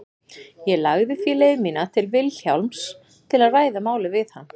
Ég lagði því leið mína til Vilhjálms til að ræða málið við hann.